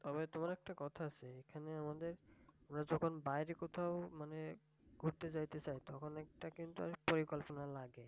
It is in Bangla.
আবার তোমার একটা কথা আছে এখানে তোমার ওরা যখন বাইরে কোথাও মানে ঘুরতে যাইতে চায় তখন একটা কিন্তু পরিকল্পনা লাগে।